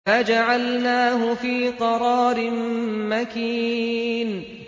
فَجَعَلْنَاهُ فِي قَرَارٍ مَّكِينٍ